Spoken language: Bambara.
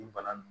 Ni bana don